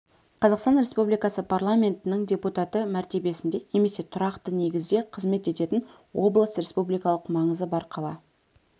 қазақстан республикасы парламентінің депутаты мәртебесінде немесе тұрақты негізде қызмет ететін облыс республикалық маңызы бар қала